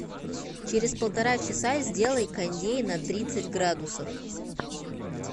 через полтора часа сделай кондей на тридцать градусов